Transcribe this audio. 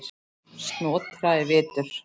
Snotra er vitur